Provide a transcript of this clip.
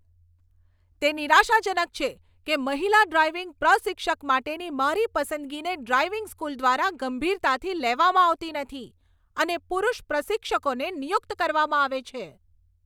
તે નિરાશાજનક છે કે મહિલા ડ્રાઇવિંગ પ્રશિક્ષક માટેની મારી પસંદગીને ડ્રાઇવિંગ સ્કૂલ દ્વારા ગંભીરતાથી લેવામાં આવતી નથી અને પુરુષ પ્રશિક્ષકોને નિયુક્ત કરવામાં આવે છે.